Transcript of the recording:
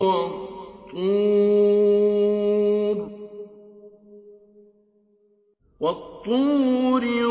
وَالطُّورِ